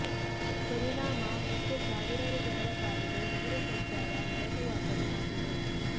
ಪರಿಣಾಮ ನಿತ್ಯ ಸಾವಿರಾರು ಜನರ ಪಾಲಿಗೆ ನಗರ ಸಂಚಾರ ನರಕಯಾತನೆ ಆಗಿದೆ